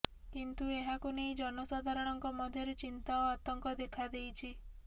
କିନ୍ତୁ ଏହାକୁ ନେଇ ଜନସାଧାରଣଙ୍କ ମଧ୍ୟରେ ଚିନ୍ତା ଓ ଆତଙ୍କ ଦେଖାଦେଇଛି